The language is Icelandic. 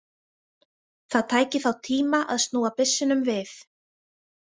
Það tæki þá tíma að snúa byssunum við.